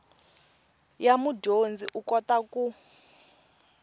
ya mudyondzi u kota ku